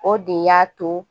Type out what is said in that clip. O de y'a to